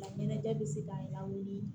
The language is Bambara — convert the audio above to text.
Ɲɛnajɛ bɛ se ka lawuli